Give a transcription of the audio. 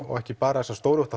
og ekki bara þessar stóru